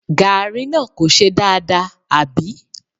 Gààrí náà kò ṣe dáadáa, àbí?